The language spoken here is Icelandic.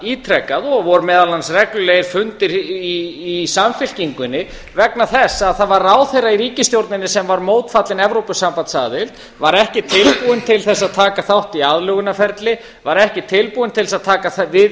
ítrekað og voru meðal annars reglulegir fundir í samfylkingunni vegna þess að það var ráðherra í ríkisstjórninni sem var mótfallinn evrópusambandsaðild var ekki tilbúinn til að taka þátt í aðlögunarferli var ekki tilbúinn til að taka við